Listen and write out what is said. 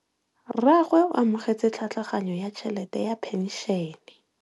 Rragwe o amogetse tlhatlhaganyô ya tšhelête ya phenšene.